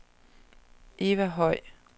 Eva Høj